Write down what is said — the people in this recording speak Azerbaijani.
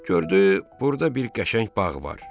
Gördü burda bir qəşəng bağ var.